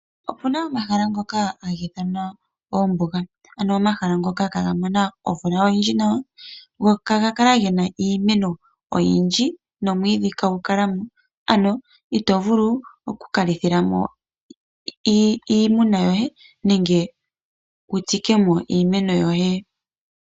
Opu na omahala ngoka taga ithanwa oombuga, ano omahala ngoka ihaaga mono omvula oyindji, go ihaga kala ge na iimeno oyindji nomwiidhi ihagu kala mo. Ito vulu okulitha mo iimuna yoye nenge wu tsike mo iimeno yoye.